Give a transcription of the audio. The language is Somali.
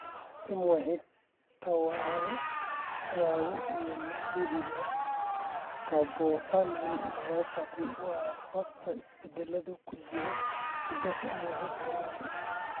MYH tadhawo ee la xidhiidha scapupoperoneal myopathy waxaa sababa isbeddellada ku jira hiddaha MYH tadhawo.